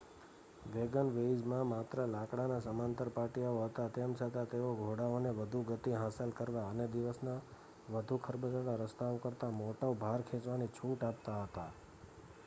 વેગનવેઇઝમાં માત્ર લાકડાના સમાંતર પાટિયાઓ હતા તેમ છતાં તેઓ ઘોડાઓને વધુ ગતિ હાંસલ કરવા અને દિવસના વધુ ખરબચડા રસ્તાઓ કરતાં મોટો ભાર ખેંચવાની છૂટ આપતા હતા